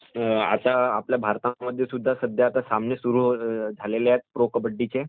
तर आता आपल्या भारतामध्ये सुद्धा सध्या सामने सुरु झालेले आहेत प्रो-कबड्डी चे